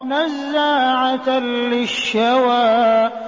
نَزَّاعَةً لِّلشَّوَىٰ